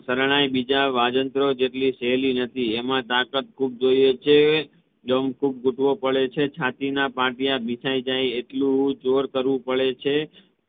શરણાઈ બીજા વાજિંત્રો જેટલી સહેલી નથી એમાં તાકાત ખૂબ જોઈએ છે દમ ખુબ ગુઠવો પડે છે છાતી ના પત્યા બિસાય જાય એટલું જોર કરવું પડે છે